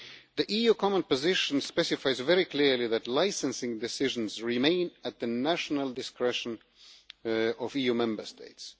The EU common position specifies very clearly that licensing decisions remain at the national discretion of EU Member States.